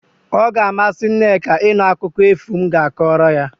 O ga-amasị Nneka ịnụ akụkọ efu m ga-akọrọ ya.